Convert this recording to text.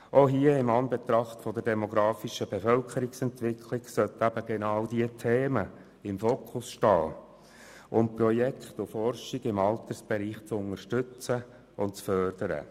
Auch hier sollten in Anbetracht der demografischen Bevölkerungsentwicklung eben genau diese Themen im Fokus stehen, um Projekte und Forschung im Altersbereich zu unterstützen und zu fördern.